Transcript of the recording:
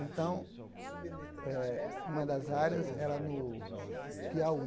Então, eh uma das áreas era no Piauí.